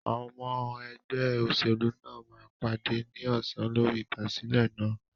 Àwọn ọmọ ẹgbẹ́ òṣèlú náà máa pàdé ní ọsàn lórí ìfàsílẹ̀ náà.